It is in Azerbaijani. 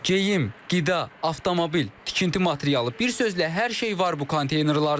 Geyim, qida, avtomobil, tikinti materialı, bir sözlə hər şey var bu konteynerlarda.